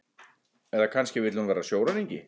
Eða kannski vill hún vera sjóræningi?